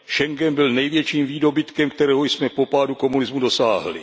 Schengen byl největším výdobytkem, kterého jsme po pádu komunismu dosáhli.